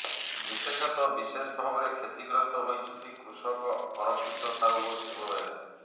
ବିଶେଷତଃ ବିଶେଷ ଭାବରେ କ୍ଷତି ଗ୍ରସ୍ତ ହୋଇଛନ୍ତି କୃଷକ ଅରକ୍ଷିତ ସାହୁ ଓ ଶିବ ବେହେରା